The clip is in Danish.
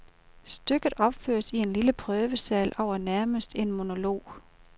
Stykket opføres i en lille prøvesal og er nærmest en monolog.